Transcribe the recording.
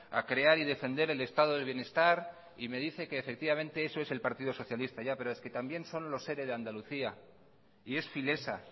a crear y defender el estado de bienestar y me dice que efectivamente eso es el partido socialista ya pero es que también son los ere de andalucía y es filesa